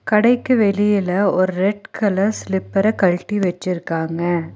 கடைக்கு வெளியில ஒரு ரெட் கலர் ஸ்லிப்பர கழட்டி வெச்சிருக்காங்க.